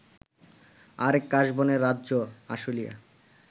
আরেক কাশবনের রাজ্য আশুলিয়া